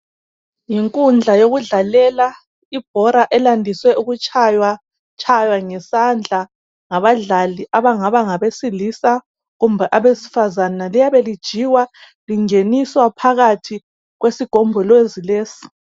yinkundla yokudlalela ibhola elandiswe ukutshaywa ngesandla ngabadlali abangaba ngabesilisa kumbe abesifazana liyabe lilijikwa lingeniswa phakathi kwesigombolozi lesi